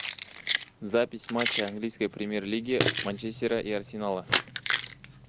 запись матча английской премьер лиги манчестера и арсенала